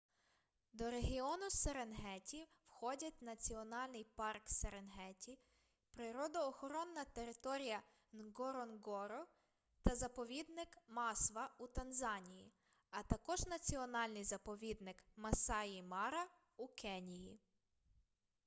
до регіону серенгеті входять національний парк серенгеті природоохоронна територія нґоронґоро та заповідник масва у танзанії а також національний заповідник масаї-мара у кенії